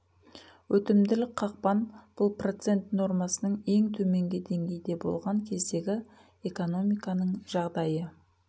өтімділік қақпан бұл процент нормасының ең төменгі деңгейде болған кездегі экономиканың жағдайы